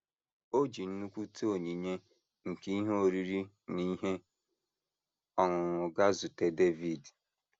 O ji nnukwute onyinye nke ihe oriri na ihe ọṅụṅụ gaa zute Devid.